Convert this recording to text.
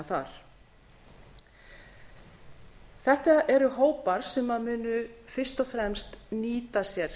þar þetta eru hópar sem munu fyrst og fremst nýta sér